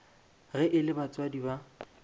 ge e le batswadi ba